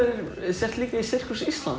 sért líka í Sirkús Íslands